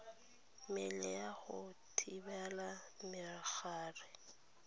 mmele ya go thibela megare